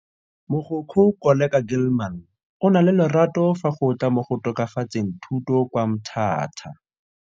Mogokgo Koleka Gilman o na le lerato fa go tla mo go tokafatseng thuto kwa Mthatha.